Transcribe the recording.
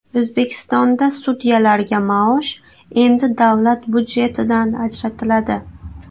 O‘zbekistonda sudyalarga maosh endi davlat budjetidan ajratiladi.